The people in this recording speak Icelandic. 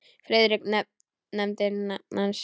Friðrik nefndi nafn hans.